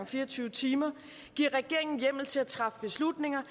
fire og tyve timer giver regeringen hjemmel til at træffe beslutninger